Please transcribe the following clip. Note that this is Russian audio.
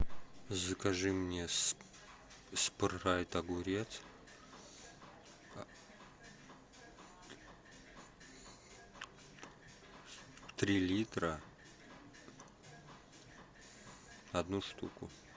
закажи мне спрайт огурец три литра одну штуку